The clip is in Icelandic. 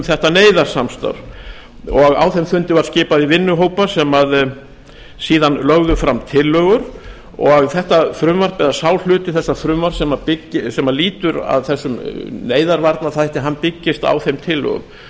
þetta neyðarsamstarf á þeim fundi var skipað í vinnuhópa sem síðan lögðu fram tillögur og þetta frumvarp eða sá hluti þessa frumvarps sem lýtur að þessum neyðarvarnaþætti byggist á þeim tillögum